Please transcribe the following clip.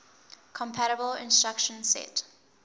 compatible instruction set